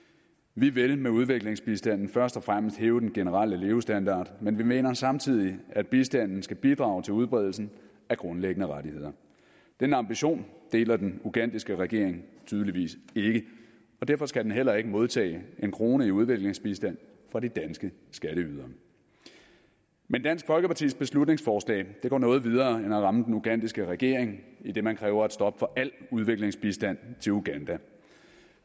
vi vil med udviklingsbistanden først og fremmest hæve den generelle levestandard men vi mener samtidig at bistanden skal bidrage til udbredelsen af grundlæggende rettigheder den ambition deler den ugandiske regering tydeligvis ikke og derfor skal den heller ikke modtage en krone i udviklingsbistand fra de danske skatteydere men dansk folkepartis beslutningsforslag går noget videre end at ramme den ugandiske regering idet man kræver et stop for al udviklingsbistand til uganda